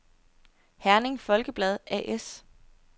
Herning Folkeblad A/S